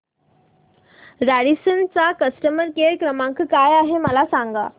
Radisson चा customer care क्रमांक काय आहे मला सांगा